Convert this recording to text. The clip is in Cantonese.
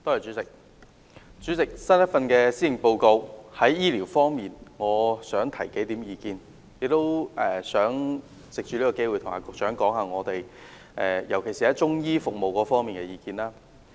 主席，我想就新一份施政報告在醫療方面提出數點意見，特別是藉此機會，向局長提出中醫服務方面的意見。